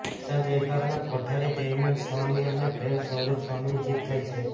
સંત વિભાગના કોઠારી દેવનંદન સ્વામી અને પ્રેમ સ્વરૂપ સ્વામીની જીત થઈ છે